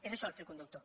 és això el fil conductor